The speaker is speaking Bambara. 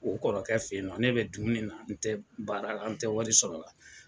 O kɔrɔkɛ fɛ yen ne bɛ dumuni na n tɛ baara la n tɛ wari sɔrɔla.